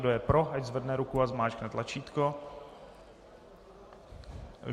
Kdo je pro, ať zvedne ruku a zmáčkne tlačítko.